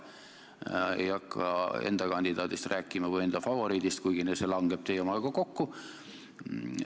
Ma ei nimeta siin praegu enda kandidaati või enda favoriiti, kuigi see langeb teie omaga kokku.